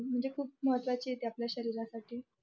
म्हणजे खूप महत्वाची आहे ते आपल्या शरीरासाठी